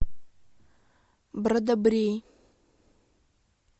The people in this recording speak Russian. брадобрей